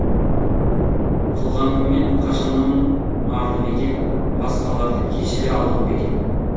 қылғаныммен қашаннан арды мекен басқаларды кешіре алдым ба екен